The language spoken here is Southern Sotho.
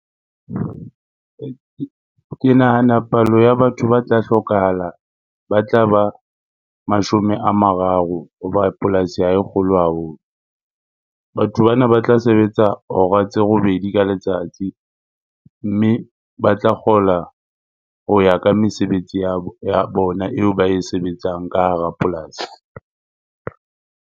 Ke nahana palo ya batho ba tla hlokahala, ba tla ba mashome a mararo hoba polasi ha e kgolo haholo. Batho bana ba tla sebetsa hora tse robedi ka letsatsi mme ba tla kgola ho ya ka mesebetsi ya bona eo ba e sebetsang ka hara polasi.